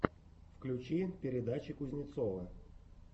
включи передачи кузнецова